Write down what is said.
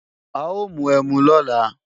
A ó mu ẹmu lọ́la